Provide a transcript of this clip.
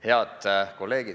Head kolleegid!